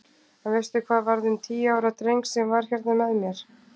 En veistu hvað varð um tíu ára dreng sem var hérna með mér?